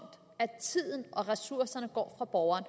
at tiden og ressourcerne går fra borgerne